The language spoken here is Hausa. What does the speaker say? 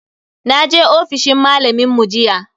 Naje ofishin malamin mu jiya.